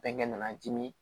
Bɛnkɛ nana dimi